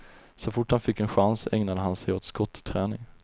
Så fort han fick en chans ägnade han sig åt skotträning.